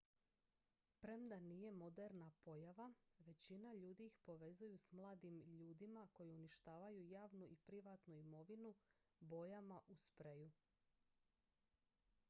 premda nije moderna pojava većina ljudi ih povezuju s mladim ljudima koji uništavaju javnu i privatnu imovinu bojama u spreju